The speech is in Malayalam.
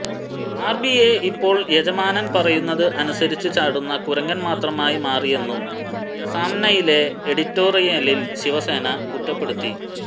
ആർബിഐ ഇപ്പോൾ യജമാനൻ പറയുന്നത് അനുസരിച്ച് ചാടുന്ന കുരങ്ങൻ മാത്രമായി മാറിയെന്നും സാംനയിലെ എഡിറ്റോറിയലിൽ ശിവസേന കുറ്റപ്പെടുത്തി